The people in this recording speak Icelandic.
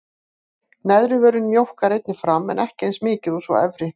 Neðri vörin mjókkar einnig fram en ekki eins mikið og sú efri.